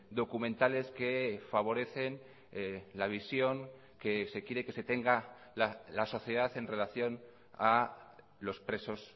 documentales que favorecen la visión que se quiere que se tenga la sociedad en relación a los presos